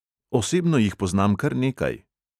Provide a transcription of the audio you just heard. Osebno jih poznam kar nekaj.